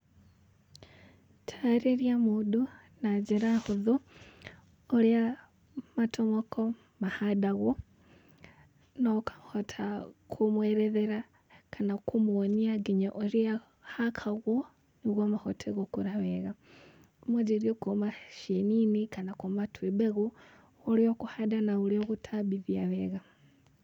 Taarĩria mũndũ na njĩra hũthũ ũrĩa matomoko mahandagwo na ũkahota kũmwerethera kana kũmũonia nginya ũrĩa hakagwo nĩguo mahote gũkũra wega. Wanjĩrĩrie kuuma cieni-inĩ kana kuuma twĩ mbegũ ũrĩa ũkũhanda na ũrĩa ũgũtambithia wega.